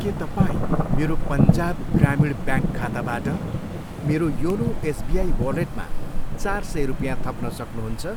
के तपाईँ मेरो पन्जाब ग्रामीण ब्याङ्क खाताबाट मेरो योनो एसबिआई वालेटमा चार सय रुपियाँ थप्न सक्नुहुन्छ?